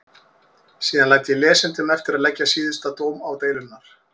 Síðan læt ég lesendum eftir að leggja síðasta dóm á deilurnar.